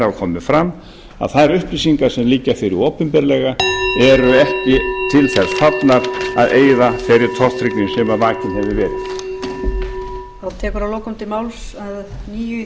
hafa komið fram að þær upplýsingar sem liggja fyrir opinberlega eru ekki til þess fallnar að eyða þeirri tortryggni sem vakin hefur verið